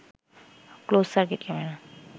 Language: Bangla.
closed circuit camera